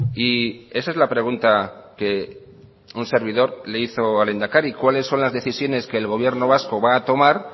y esa es la pregunta que un servido le hizo al lehendakari cuáles son las decisiones que el gobierno vasco va a tomar